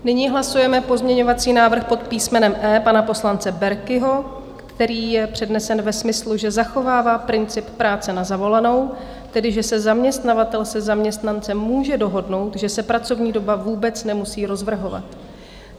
Nyní hlasujeme pozměňovací návrh pod písmenem E pana poslance Berkiho, který je přednesen ve smyslu, že zachovává princip práce na zavolanou, tedy že se zaměstnavatel se zaměstnancem může dohodnout, že se pracovní doba vůbec nemusí rozvrhovat.